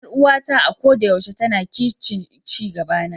Yar uwata a koda yaushe tana kishin ci gabana.